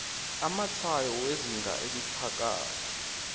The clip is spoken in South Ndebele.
amatshwayo wezinga eliphakathi